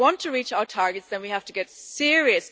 If we want to reach our targets then we have to get serious.